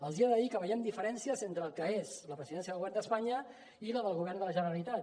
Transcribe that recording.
els he de dir que veiem diferències entre el que és la presidència del govern d’espanya i la del govern de la generalitat